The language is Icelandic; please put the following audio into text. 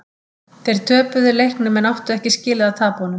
Þeir töpuðu leiknum en þeir áttu ekki skilið að tapa honum.